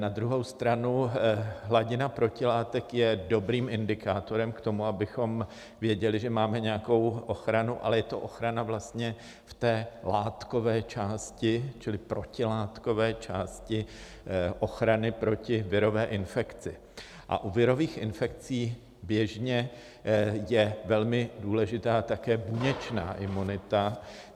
Na druhou stranu hladina protilátek je dobrým indikátorem k tomu, abychom věděli, že máme nějakou ochranu, ale je to ochrana vlastně v té látkové části čili protilátkové části ochrany proti virové infekci, a u virových infekcí běžně je velmi důležitá také buněčná imunita.